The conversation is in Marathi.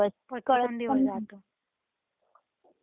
आणि रात्रच मोठी असती.